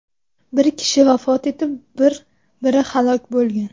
Bir kishi vafot etib, biri halok bo‘lgan.